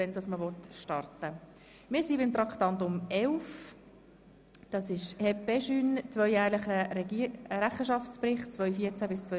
Wir kommen zu Traktandum 11, dem Rechenschaftsbericht der HEP-EJUNE.